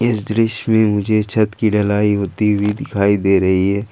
इस दृश्य में मुझे छत की ढलाई होती हुई दिखाई दे रही है।